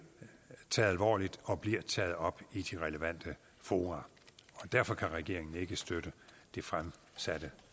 taget alvorligt og bliver taget op i de relevante fora og derfor kan regeringen ikke støtte det fremsatte